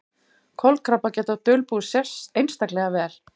Kolkrabbar geta dulbúist einstaklega vel.